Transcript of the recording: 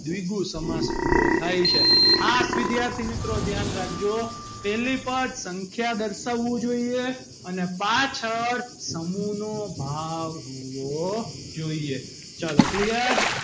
દ્વિગુ સમાસ પૂરો થાય છે ખાસ વિદ્યાર્થી મિત્રો ધ્યાન રાખજો પહેલી પદ સંખ્યા દર્શાવવું જોઈએ અને પાછળ સમૂહ નો ભાવ હોવો જોઈએ ચલો clear